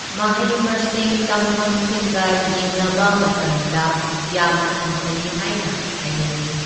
ꯃꯍꯩ ꯃꯁꯤꯡ ꯇꯝꯐꯝꯁꯤꯡꯒ ꯌꯦꯡꯅꯕ ꯃꯇꯝꯗ ꯌꯥꯝꯅ ꯍꯟꯊꯔꯤ ꯍꯥꯏꯅ ꯍꯥꯏꯅꯤꯡꯏ꯫